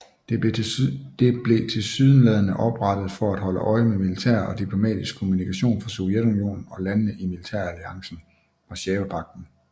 Det blev tilsyneladende oprettet for at holde øje med militær og diplomatisk kommunikation fra Sovjetunionen og landene i militæralliancen Warszawapagten